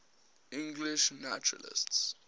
english naturalists